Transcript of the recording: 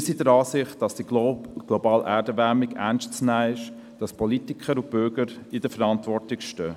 ]» Wir sind der Ansicht, dass die globale Erderwärmung ernst zu nehmen ist, und dass die Politiker und Bürger in der Verantwortung stehen.